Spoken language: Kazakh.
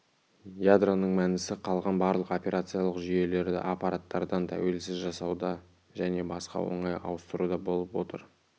ядроның мәнісі қалған барлық операциялық жүйелерді аппараттардан тәуелсіз жасауда және басқа оңай ауыстыруда болып отыр